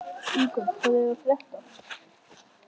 Ígor, hvað er að frétta?